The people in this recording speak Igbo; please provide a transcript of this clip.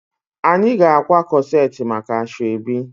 Anyị ga-akwa corset maka asoebi